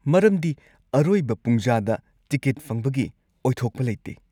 ꯃꯔꯝꯗꯤ ꯑꯔꯣꯏꯕ ꯄꯨꯡꯖꯥꯗ ꯇꯤꯀꯦꯠ ꯐꯪꯕꯒꯤ ꯑꯣꯏꯊꯣꯛꯄ ꯂꯩꯇꯦ꯫